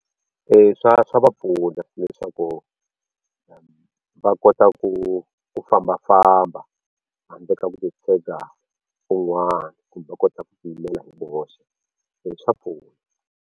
Swa swa va pfuna leswaku va kota ku ku fambafamba handle ka ku titshega hi un'wana kumbe va kota ku ti yimela hi voxe swa pfuna.